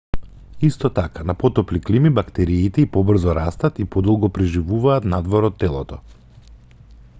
исто така на потопли клими бактериите и побрзо растат и подолго преживуваат надвор од телото